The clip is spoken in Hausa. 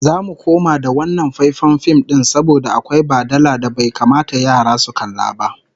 Zamu koma da wannan faifan fim din saboda akwai badala da bai kamata yara su kalla ba